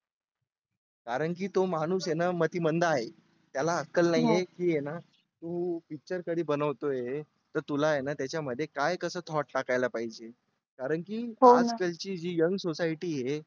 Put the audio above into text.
कारण की तो माणूस आहे ना मतिमंद आहे. त्याला अक्कल नाही आहे की यांना तू picture कधी बनवतोय तर तुला आहे ना त्याच्यामध्ये काय कसं thought टाकायला पाहिजे कारण की आज कालची जी young society आहे